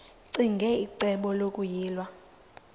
ccinge icebo lokuyilwa